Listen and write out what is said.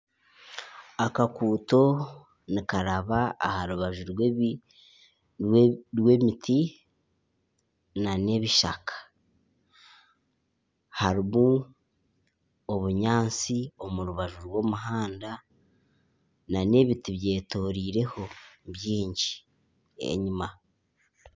Akaguuto nikaraba aha rubaju rw'emiti n'ebishaka harimu obunyaatsi omu rubaju rw'omuhanda n'ebiti byetoriireho byingi enyima.